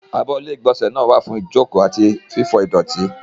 Abọ́ ilé-ìgbọ̀nsẹ̀ náà wà fún jókòó àti fífọ ìdọ̀tí.